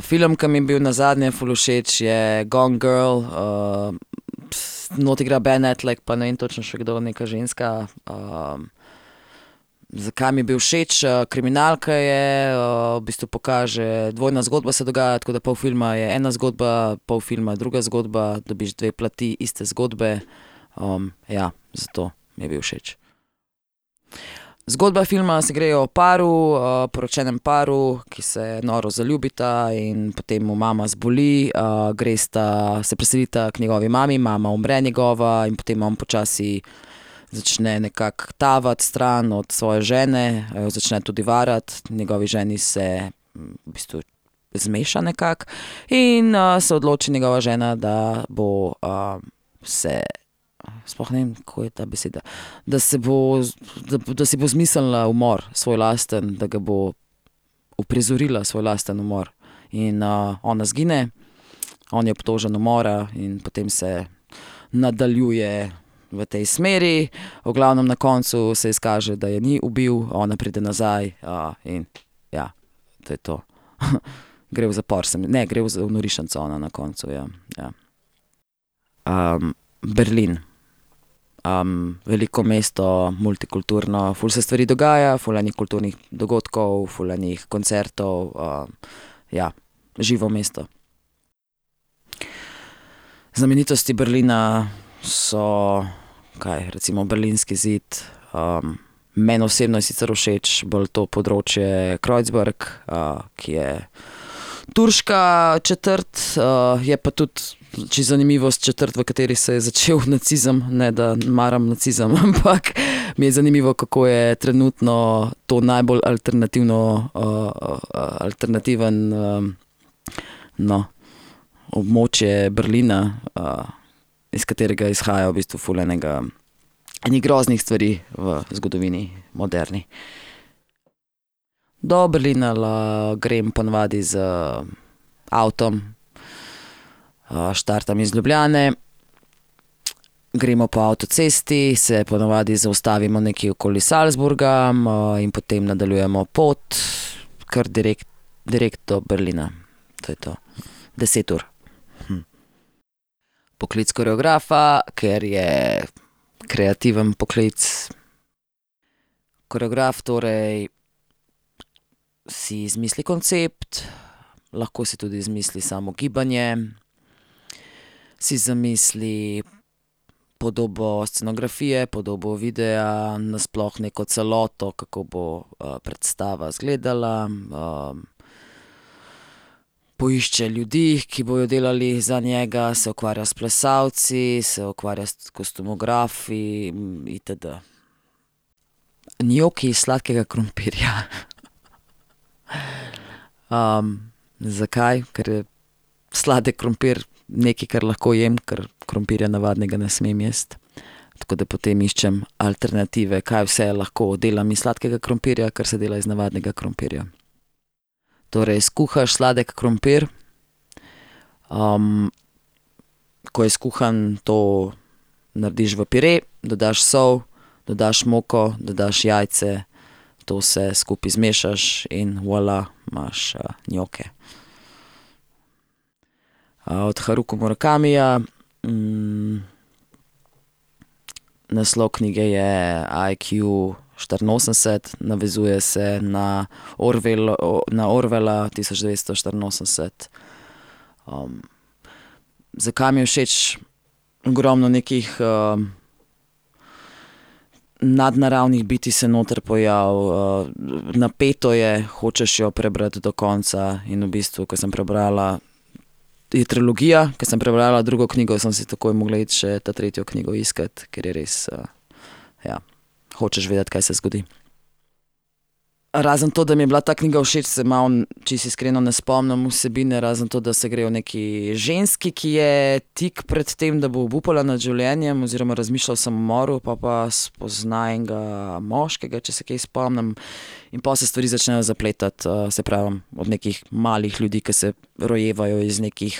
film, ko mi je bil nazadnje ful všeč, je Gone girl, not igra Ben Affleck pa ne vem točno še kdo, neka ženska. zakaj mi je bil všeč? kriminalka je, v bistvu pokaže, dvojna zgodba se dogaja, tako da pol filma je ena zgodba, pol filma je druga zgodba. Dobiš dve plati iste zgodbe. ja, zato mi je bil všeč. Zgodba filma se gre o paru, poročenem paru, ki se noro zaljubita, in potem mu mama zboli. gresta, se preselita k njegovi mami, mama umre njegova in potem on počasi začne nekako tavati stran od svoje žene, jo začne tudi varati. Njegovi ženi se, v bistvu zmeša nekako. In, se odloči njegova žena, da bo, se, sploh ne vem, kako je ta beseda, da se bo, da bo, da si bo izmislila umor svoj lastni, da ga bo uprizorila svoj lastni umor. In, ona izgine, on je obtožen umora in potem se nadaljuje v tej smeri. V glavnem na koncu se izkaže, da je ni ubil, ona pride nazaj, in ja. To je to. Gre v zapor se ne, gre v norišnico ona na koncu, ja. Ja. Berlin. veliko mesto, multikulturno, ful se stvari dogaja, ful enih kulturnih dogodkov, ful enih koncertov. ja. Živo mesto. Znamenitosti Berlina so kaj, recimo berlinski zid, meni osebno je sicer všeč bolj to področje Kreuzberg, ki je turška četrt, je pa tudi, čisto zanimivost, četrt, v kateri se je začel nacizem. Ne da maram nacizem, ampak mi je zanimivo, kako je trenutno to najbolj alternativno, alternativno, no, območje Berlina, iz katerega izhaja v bistvu ful enega, ene groznih stvari v zgodovini moderni. Do Berlina grem po navadi z avtom. štartam iz Ljubljane, gremo po avtocesti, se po navadi zaustavimo nekje okoli Salzburga, in potem nadaljujemo pot kar direkt, direkt do Berlina. To je to. Deset ur. Poklic koreografa, ker je kreativen poklic. Koreograf torej si izmisli koncept, lahko si tudi izmisli samo gibanje, si zamisli podobo scenografije, podobo videa, nasploh neko celoto, kako bo, predstava izgledala. poišče ljudi, ki bodo delali za njega, se ukvarja s plesalci, se ukvarja s kostumografi itd. Njoki iz sladkega krompirja. zakaj? Kar je sladek krompir nekaj, kar lahko jem, ker krompirja navadnega ne smem jaz. Tako da potem iščem alternative, kaj vse lahko delam iz sladkega krompirja, kar se dela iz navadnega krompirja. Torej skuhaš sladki krompir. ko je skuhan, to narediš v pire, dodaš sol, dodaš moko, dodaš jajce. To vse skupaj zmešaš in voilà, imaš njoke. od Harukija Murakamija. naslov knjige je IQštiriinosemdeset, navezuje se na na Orwella Tisoč devetsto štiriinosemdeset. zakaj mi je všeč? Ogromno nekih, nadnaravnih bitij se noter pojavi, napeto je, hočeš jo prebrati do konca. In v bistvu, ke sem prebrala, je trilogija, ke sem prebrala drugo knjigo, sem si takoj mogla iti še ta tretjo knjigo iskat, ker je res, ja, hočeš vedeti, kaj se zgodi. Razen to, da mi je bila ta knjiga všeč, se malo čisto iskreno ne spomnim vsebine, razen to, da se gre o neki ženski, ki je tik pred tem, da bo obupala nad življenjem oziroma razmišlja o samomoru, pol pa spozna enega moškega, če se kaj spomnim. In pol se stvari začnejo zapletati. saj pravim, od nekih malih ljudi, ke se rojevajo iz nekih,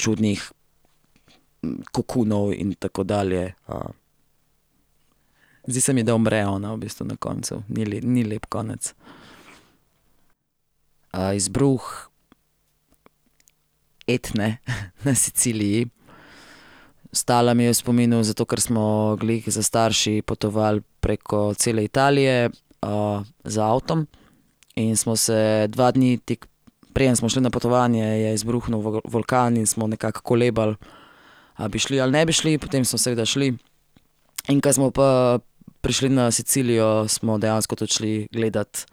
čudnih kokonov in tako dalje. zdi se mi, da umre ona v bistvu na koncu. Ni ni lep konec. izbruh Etne na Siciliji. Ostala mi je v spominu zato, ker smo glih s starši potovali preko cele Italije, z avtom in smo se, dva dni, tik preden smo šli na potovanje, je izbruhnil vulkan in smo nekako kolebali, a bi šli ali ne bi šli. Potem smo seveda šli. In ke smo prišli na Sicilijo, smo dejansko tudi šli gledat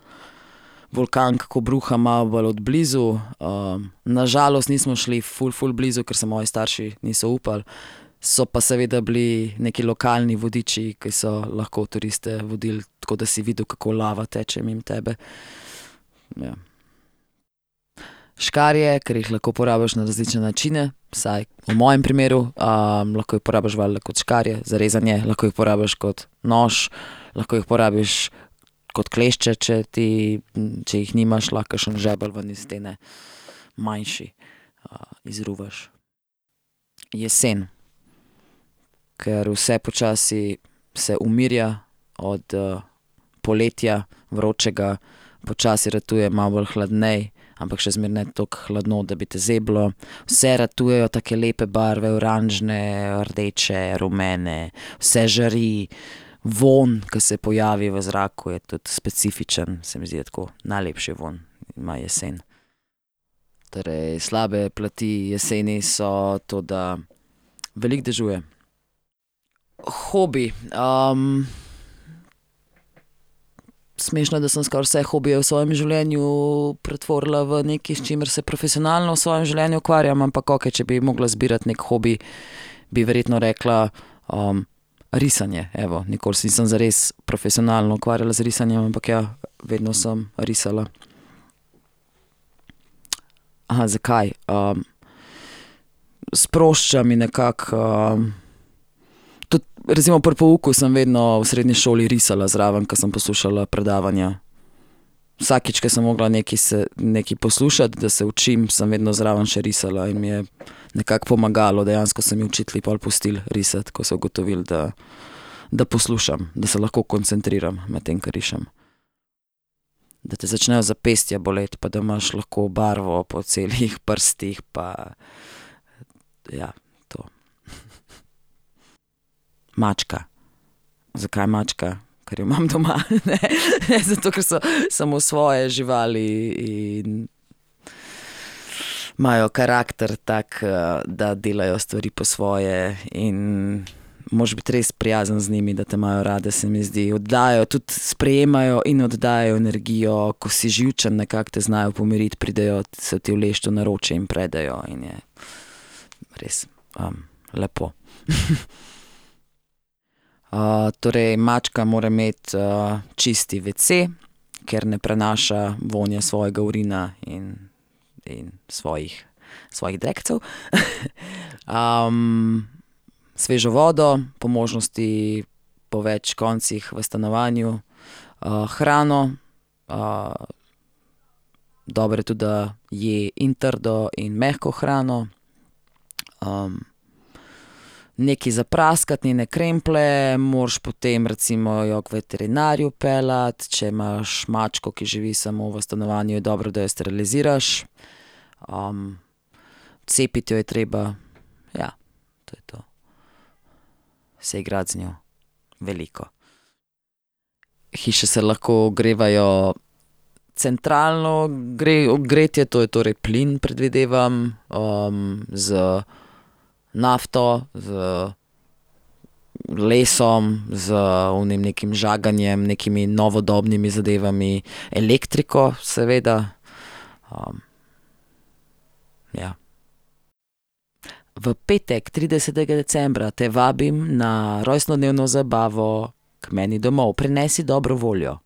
vulkan, kako bruha, malo bolj od blizu. na žalost nismo šli ful, ful blizu, ker se moji starši niso upali, so pa seveda bili neki lokalni vodiči, ki so lahko turiste vodili. Tako da si videl, kako lava teče mimo tebe. Ja. Škarje, ker jih lahko uporabiš na različne načine. Vsaj v mojem primeru. lahko jih uporabiš valjda kot škarje za rezanje, lahko jih uporabiš kot nož, lahko jih uporabiš kot klešče, če ti, če jih nimaš, lahko kakšen žebelj ven iz stene, manjši, izruvaš. Jesen. Ker vse počasi se umirja od, poletja vročega. Počasi ratuje malo bolj hladneje, ampak še zmeraj ne toliko hladno, da bi te zeblo. Vse ratujejo take lepe barve, oranžne, rdeče, rumene. Vse žari, vonj, ke se pojavi v zraku, je tudi specifičen. Se mi zdi, da tako, najlepši vonj ima jesen. Torej, slabe pleti jeseni so to, da veliko dežuje. Hobi. smešno, da sem skoraj vse hobije v svojem življenju pretvorila v nekaj, s čimer se profesionalno v svojem življenju ukvarjam, ampak okej, če bi mogla izbirati neki hobi, bi verjetno rekla, risanje, evo. Nikoli se nisem zares profesionalno ukvarjala z risanjem, ampak ja, vedno samo risala. zakaj. sprošča me nekako. tudi recimo pri pouku sem vedno v srednji šoli risala zraven, ke sem poslušala predavanja. Vsakič, ke sem mogla nekaj nekaj poslušati, da se učim, sem vedno zraven še risala, in mi je nekako pomagalo. Dejansko so mi učitelji pol pustili risati, ko so ugotovili, da, da poslušam, da se lahko koncentriram, medtem ko rišem. Da te začnejo zapestja boleti pa da imaš lahko barvo po celih prstih pa ja, to. Mačka. Zakaj mačka? Ker jo imam doma. Ne. Zato, ker so samosvoje živali in imajo karakter tak, da delajo stvari po svoje, in moraš biti res prijazen z njimi, da te imajo rade, se mi zdi. Oddajajo, tudi sprejemajo in oddajajo energijo. Ko si živčen, nekako te znajo pomiriti, pridejo se ti uleči v naročje in predejo in je res, lepo. torej, mačka mora imeti, čist WC, ker ne prinaša vonja svojega urina in, in svojih, svojih drekcev. svežo vodo, po možnosti po več koncih v stanovanju, hrano, dobro je tudi, da je in trdo in mehko hrano. nekaj za praskati njene kremplje, moraš potem recimo jo k veterinarju peljati, če imaš mačko, ki živi samo v stanovanju, je dobro, da jo steriliziraš. cepiti jo je treba. Ja. To je to. Se igrati z njo veliko. Hiše se lahko ogrevajo centralno gretje, to je torej plin, predvidevam, z nafto, z lesom, z onim nekim žaganjem, nekimi novodobnimi zadevami, elektriko seveda. ja. V petek, tridesetega decembra, te vabim na rojstnodnevno zabavo k meni domov. Prinesi dobro voljo.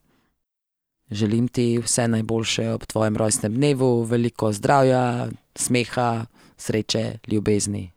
Želim ti vse najboljše ob tvojem rojstnem dnevu. Veliko zdravja, smeha, sreče, ljubezni.